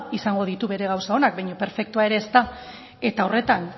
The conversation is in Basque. izango ditu bere gauza onak baina perfektua ere ez da eta horretan